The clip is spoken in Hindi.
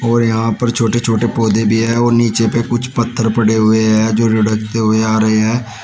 और यहां पर छोटे छोटे पौधे भी है और नीचे पर कुछ पत्थर पड़े हुए हैं जो लुढ़कते हुए आ रहे हैं।